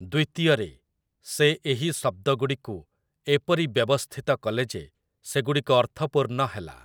ଦ୍ଵିତୀୟରେ, ସେ ଏହି ଶବ୍ଦଗୁଡ଼ିକୁ ଏପରି ବ୍ୟବସ୍ଥିତ କଲେ ଯେ ସେଗୁଡ଼ିକ ଅର୍ଥପୂର୍ଣ୍ଣ ହେଲା ।